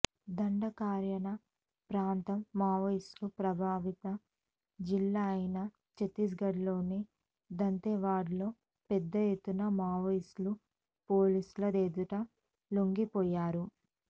దండకారణ్య ప్రాంతం మావోయిస్టు ప్రభావిత జిల్లా అయిన ఛత్తీస్గఢ్లోని దంతెవాడలో పెద్ద ఎత్తున మావోయిస్టులు పోలీసుల ఎదుట లొంగిపోయారు